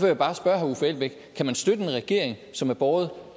jeg bare spørge herre uffe elbæk kan man støtte en regering som er båret